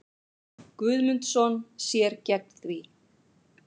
Guðmundsson sér gegn því.